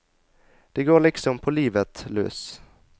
Det går likesom på livet løs.